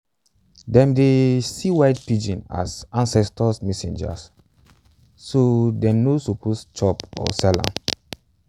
them dey um see white pigeons as ancestors' messengers so them no suppose chop or sell am.